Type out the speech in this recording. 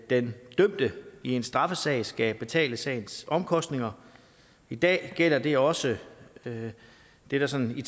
den dømte i en straffesag skal betale sagens omkostninger i dag gælder det også det der sådan i